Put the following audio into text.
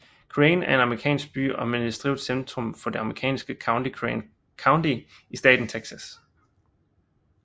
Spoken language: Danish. Crane er en amerikansk by og administrativt centrum for det amerikanske county Crane County i staten Texas